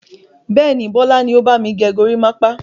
Bẹ́ẹ̀ni, Bọlá ni ó bami gẹ gorímápá.